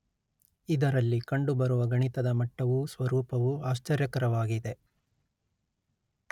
ಇದರಲ್ಲಿ ಕಂಡುಬರುವ ಗಣಿತದ ಮಟ್ಟವೂ ಸ್ವರೂಪವೂ ಆಶ್ಚರ್ಯಕರವಾಗಿದೆ